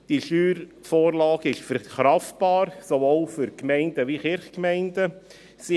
Die Steuervorlage ist sowohl für die Gemeinden als auch die Kirchgemeinden verkraftbar.